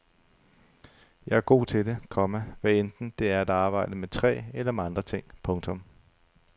Jeg er god til det, komma hvadenten det er at arbejde med træ eller med andre ting. punktum